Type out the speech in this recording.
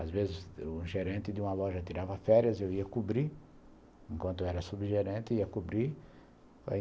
Às vezes o gerente de uma loja tirava férias e eu ia cobrir, enquanto era subgerente, ia cobrir.